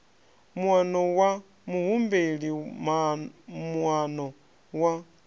muano wa muhumbeli moano wa